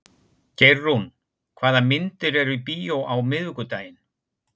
Geirrún, hvaða myndir eru í bíó á miðvikudaginn?